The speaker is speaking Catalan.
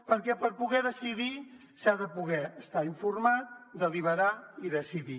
perquè per poder decidir s’ha de poder estar informat deliberar i decidir